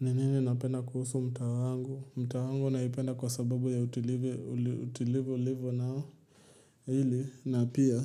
Anenene napenda kuhusu mtaa wangu? Mtaa wangu naipenda kwa sababu ya utulivu, utulivu ulivyo nao. Hili na pia